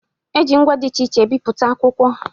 E ji ngwa dị iche iche e bipụta akwụkwọ.